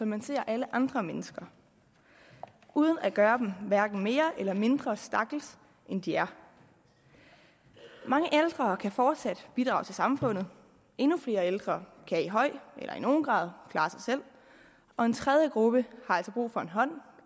man ser alle andre mennesker uden at gøre dem hverken mere eller mindre stakkels end de er mange ældre kan fortsat bidrage til samfundet endnu flere ældre kan i høj eller i nogen grad klare sig selv og en tredje gruppe har altså brug for en hånd